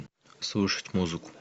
слушать музыку